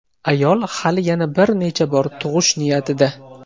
Ayol hali yana bir necha bor tug‘ish niyatida.